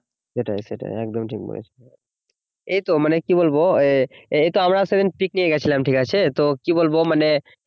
সেটাই সেটাই একদম ঠিক বলেছ এইতো মানে কি বলবো এই এইতো আমরা তো সেদিন পিকনিক এ হয়ে গেছিলাম ঠিক আছে তো কি বলবো মানে